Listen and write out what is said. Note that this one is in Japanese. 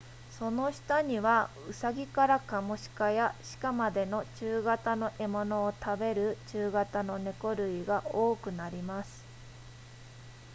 その下にはウサギからカモシカや鹿までの中型の獲物を食べる中型の猫類が多くなります